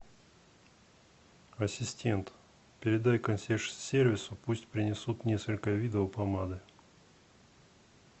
ассистент передай консьерж сервису пусть принесут несколько видов помады